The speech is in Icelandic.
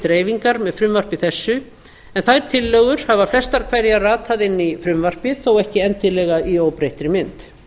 dreifingar með frumvarpi þessu en þær tillögur hafa flestar hverjar ratað inn í frumvarpið þó ekki endilega í óbreyttri mynd